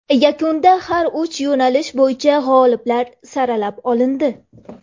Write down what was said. Yakunda har uch yo‘nalish bo‘yicha g‘oliblar saralab olindi.